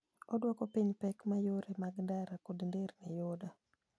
Oduoko piny pek ma yore mag ndara kod nderni yudo.